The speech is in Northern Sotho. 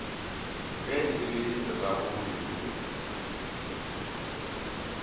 ge e le tatago lufuno